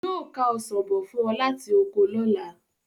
Yóò ká ọsàn bọ̀ fún ọ láti oko lọ́la.